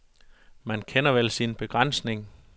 Man kender vel sin begrænsning.